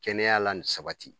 Kɛnɛya la ni sabati